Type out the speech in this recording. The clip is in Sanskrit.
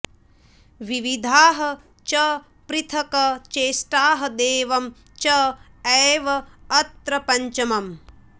विविधाः च पृथक् चेष्टाः दैवम् च एव अत्र पञ्चमम्